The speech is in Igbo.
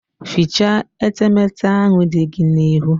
Fichaa etemete ahụ dị gị n'ihu!